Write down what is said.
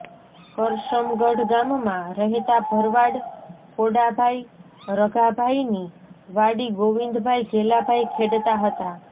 કરશમગઢ ગામમાં રહેતા ભરવાડ ખોડાભાઈ રઘાભાઈની વાડી ગોવિંદભાઈ ઘેલાભાઈ ખેડતા હતાં